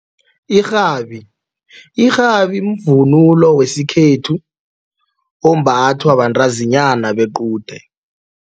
Irhabi, irhabi mvunulo wesikhethu ombathwa bantazinyana bequde.